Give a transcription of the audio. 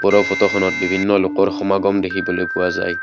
ওপৰৰ ফটোখনত বিভিন্ন লোকৰ সমাগম দেখিবলৈ পোৱা যায়।